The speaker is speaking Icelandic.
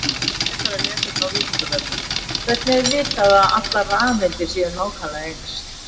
Frekara lesefni á Vísindavefnum: Hvernig er vitað að allar rafeindir séu nákvæmlega eins?